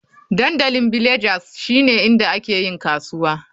Dandalin Villagers shine inda ake yin kasuwa.